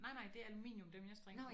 Nej nej det er aluminium dem jeg strikker på